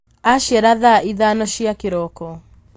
Aciara thaa ithano cia kĩroko